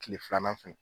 Kile filanan fɛnɛ